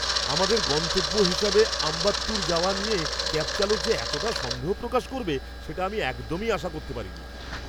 আমাদের গন্তব্য হিসেবে আম্বাত্তুর যাওয়া নিয়ে ক্যাব চালক যে এতটা সন্দেহ প্রকাশ করবে সেটা আমি একদমই আশা করতে পারিনি।